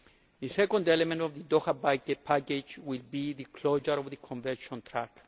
The second element of the Doha package will be the closure of the Convention track.